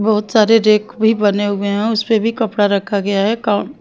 बहुत सारे रेक भी बने हुए हैं उस पे भी कपड़ा रखा गया है का --